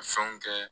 Fɛnw kɛ